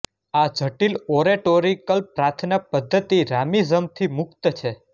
આ જટિલ ઓરેટોરીકલ પ્રાર્થના પદ્ધતિ રામીઝમથી મુક્ત છે